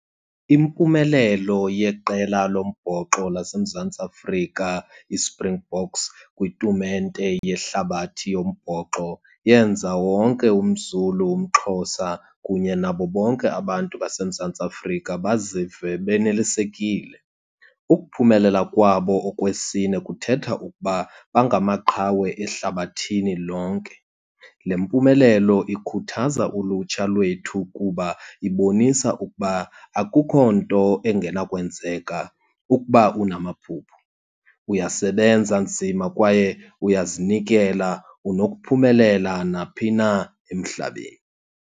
Impumelelo yeqela lombhoxo laseMzantsi Afrika, iSpringboks, kwitumente yehlabathi yombhoxo yenza wonke umZulu, umXhosa, kunye nabo bonke abantu baseMzantsi Afrika bazive benelisekile. Ukuphumelela kwabo okwesine kuthetha ukuba bangamaqhawe ehlabathini lonke. Le mpumelelo ikhuthaza ulutsha lwethu kuba ibonisa ukuba akukho nto engenakwenzeka. Ukuba unamaphupha, uyasebenza nzima kwaye uyazinikela unokuphumelela naphi na emhlabeni.